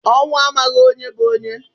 Ọnwụ amaghị onye bu onye